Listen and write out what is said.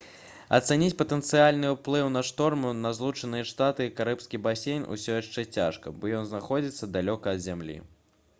ацаніць патэнцыяльны ўплыў на шторму на злучаныя штаты і карыбскі басейн усё яшчэ цяжка бо ён знаходзіцца далёка ад зямлі